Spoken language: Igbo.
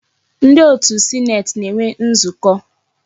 Ndi otu sineeti na-enwe nzukọ.